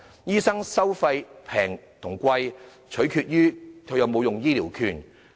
醫生收費的高低，取決於是否使用醫療券。